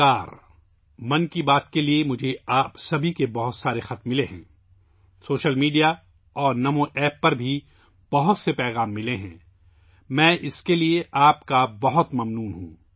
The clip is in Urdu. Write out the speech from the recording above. مجھے 'من کی بات' کے لیے آپ سب کی طرف سے بہت سے خطوط موصول ہوئے ہیں، سوشل میڈیا اور نمو ایپ پر بھی بہت سے پیغامات موصول ہوئے ہیں، میں اس کے لیے آپ کا بہت مشکور ہوں